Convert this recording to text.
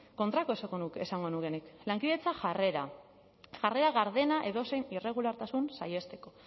kontrakoa esango nuke nik lankidetza jarrera jarrera gardena edozein irregulartasun saihesteko